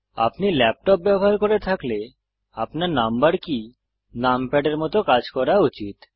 আপনি ল্যাপটপ ব্যবহার করে থাকলে আপনার নম্বর কী numpad এর মত কাজ করা উচিত